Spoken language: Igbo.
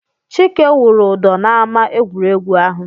Chike wụrụ ụdọ n'ámá egwuregwu ahụ.